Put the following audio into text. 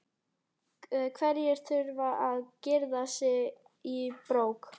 Hverjir þurfa að girða sig í brók?